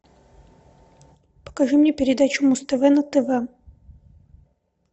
покажи мне передачу муз тв на тв